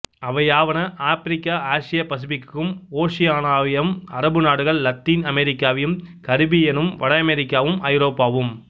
அவையாவன ஆப்பிரிக்கா ஆசியாபசிபிக்கும் ஓசியானியாவும் அரபு நாடுகள் லத்தீன் அமெரிக்காவும் கரிபியனும் வட அமெரிக்காவும் ஐரோப்பாவும்